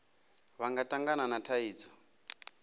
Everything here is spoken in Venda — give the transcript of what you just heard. vha nga tangana na thaidzo